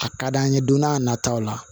A ka d'an ye don n'a nataw la